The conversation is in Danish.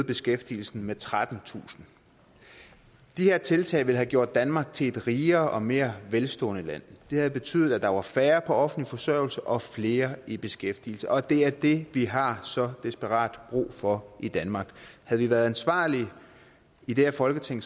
beskæftigelsen med trettentusind de her tiltag ville have gjort danmark til et rigere og mere velstående land det havde betydet at der var færre på offentlig forsørgelse og flere i beskæftigelse og det er det vi har så desperat brug for i danmark havde vi været ansvarlige i det her folketing